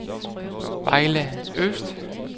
Vejle Øst